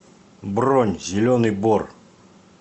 бронь зеленый бор